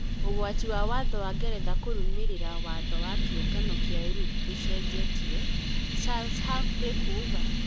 Brexit: ũgwati wa watho wa Ngeretha kũrũmĩrĩra watho wa Kĩũngano kĩa Europe ndũcenjetie, Charles Humphrey kuuga